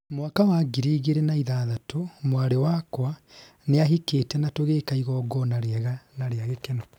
mwaka wa ngiri igĩrĩ na ithathatũ, mwarĩ wakwa nĩahikĩte na tũgĩka igongona rĩega na rĩa gĩkeno